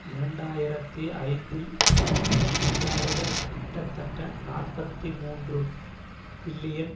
இரண்டு ஆயிரத்தி ஐந்தில் இந்நாடுகள் கிட்டத்தட்ட நாற்பத்தி மூன்று பில்லியன்